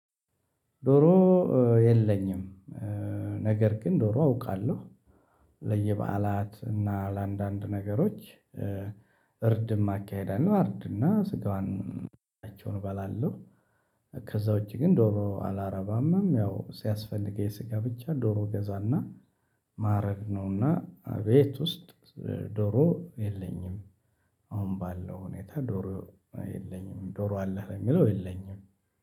ዶሮ የለኝም ነገር ግን ዶሮ አውቃለሁ ለየበአላት እና ለአንዳንድ ነገሮች እርድም አካሄዳለሁ አርድና ስጋውን እባላለሁ ከዛ ውጪ ግን ዶሮ አላረባምም ያው ሲያስፈልገኝ ስጋ ብቻ ዶሮ ገዛና ማዕረግ ነውና ቤት ውስጥ ዶሮ የለኝም አሁን ባለው ሁኔታ ዶሮ የለኝም ዶሮ አለህ የሚለው የለኝም።